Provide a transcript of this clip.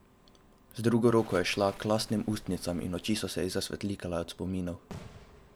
Z drugo roko je šla k lastnim ustnam in oči so se ji zasvetlikale od spominov.